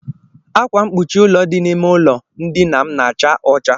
Ákwá mkpuchi ụlọ dị n'ime ụlọ ndina m na-acha ọcha.